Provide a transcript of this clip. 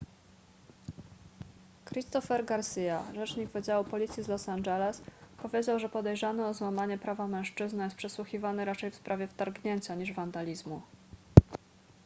christopher garcia rzecznik wydziału policji z los angeles powiedział że podejrzany o złamanie prawa mężczyzna jest przesłuchiwany raczej w sprawie wtargnięcia niż wandalizmu